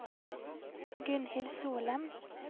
Gunnhild Solem